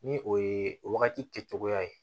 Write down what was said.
Ni o ye o wagati kɛ cogoya ye